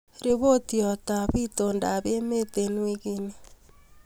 Ripotiab itondoab emet eng wikin